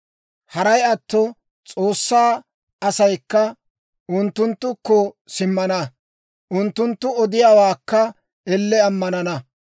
Haray atto, S'oossaa asaykka unttunttukko simmana; unttunttu odiyaawaakka elle ammanana.